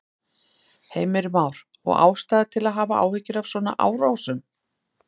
Heimir Már: Og ástæða til að hafa áhyggjur af svona árásum?